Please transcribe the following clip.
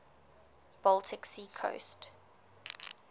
baltic sea coast